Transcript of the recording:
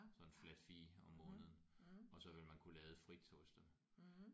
Sådan en flat fee om måneden og så ville man kunne lade frit hos dem